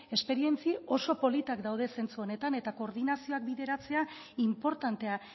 esperientzia oso politak daude zentzu honetan eta koordinazioak bideratzea inportantea